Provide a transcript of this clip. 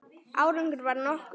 Árangur varð nokkur.